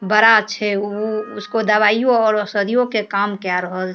बड़ा छै उ उसको दवाईयो और औषधियों के काम केए रहल --